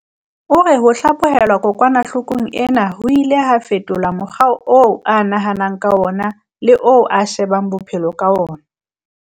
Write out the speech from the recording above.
O re ho hlaphohelwa kokwana-hlokong ena ho ile ha fetola mokgwa oo a nahanang ka wona le oo a shebang bophe-lo ka wona.